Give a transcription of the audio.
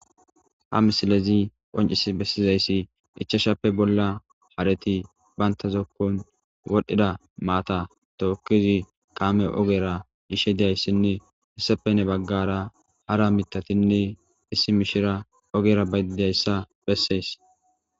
ha misilezi qoncis bessizayssi ichashappe bolla hareti bayntazokkon wodhdhida maata tookkizi kaame ogera ishe didayssinne hissapenne baggara hara mitatinne issi mishira ogera bayidayssa bessees